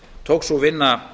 tók sú vinna